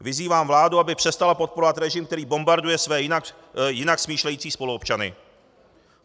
Vyzývám vládu, aby přestala podporovat režim, který bombarduje své jinak smýšlející spoluobčany.